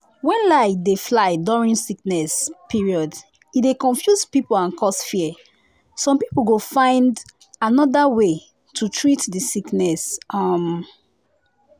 when lie dey fly during sickness period e dey confuse people and cause fear. some people go just find another way treat the sickness. um